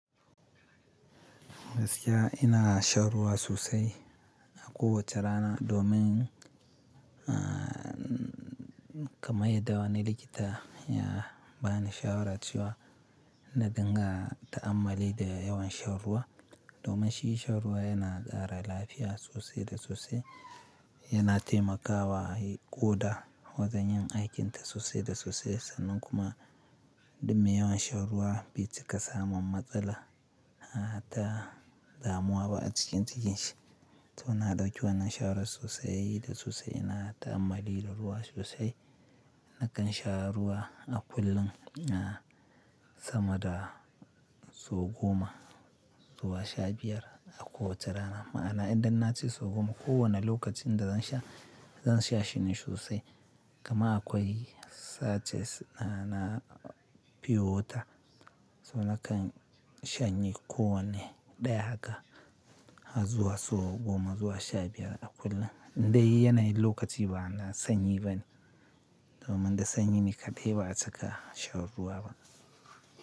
Gaskiya, ina shan ruwa sosai a kowace rana domin, ah, kamar yadda wani likita ya bani shawara cewa, na dinga ta'ammali da yawan sha ruwa, domin shi shan ruwa yana ƙara lafiya sosai da sosai, yana taimakawa ƙoda, wajen yin aikinta sosai da sosai, sannan kuma dum me yawan shan ruwa, bai cika samun matsala, a ta, damuwa ba a cikin cikin shi. To na ɗauki wannan shawarar sosai da sosai. Ina ta'ammali da ruwa sosai. Nakan sha ruwa a kullum, ah, sama da sau goma, zuwa sha biyar a kowace rana. Ma'ana idan na ce sau goma, kowane lokacin da zan sha, zan sha shine sosai. Kaman akwai sachets na piyo wata. So nakan shanye kowanne ɗaya haka, ha zuwa sau goma zuwa sha biyar a kullum. Indai yana yin lokaci bana sanyi bane. Domin da sanyi ni kaɗai ba'a cika shan ruwa ba.